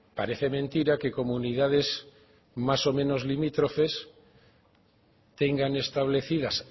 parece mentira que comunidades más o menos limítrofes tengan establecidas